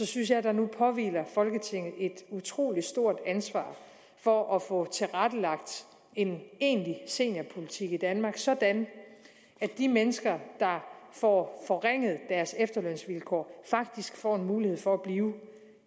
synes at der nu påhviler folketinget et utrolig stort ansvar for at få tilrettelagt en egentlig seniorpolitik i danmark sådan at de mennesker der får forringet deres efterlønsvilkår faktisk får en mulighed for